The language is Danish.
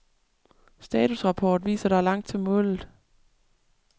Statusrapport viser der er langt til målet.